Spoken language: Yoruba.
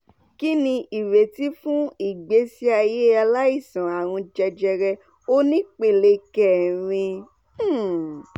kini ireti fun igbesi aye alaisan arun jejere onipele kerin? um